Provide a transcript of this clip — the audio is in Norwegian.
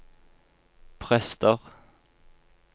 prester